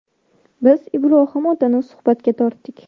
Biz Ibrohim otani suhbatga tortdik.